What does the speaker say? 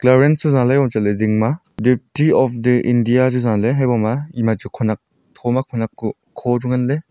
clearance zah le ding madept of the india chujaley haiboma ema. chu khonak thoma chu khonak kuh kho chu nganley.